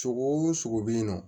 Sogo bɛ yen nɔ